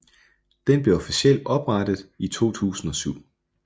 Den blev officielt oprettet i 2007